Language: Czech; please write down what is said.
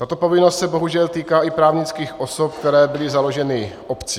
Tato povinnost se bohužel týká i právnických osob, které byly založeny obcí.